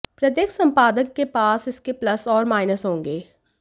प्रत्येक संपादक के पास इसके प्लस और माइनस होंगे